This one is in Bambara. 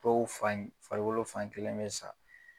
Dɔw fan , farikolo fan kelen be sa.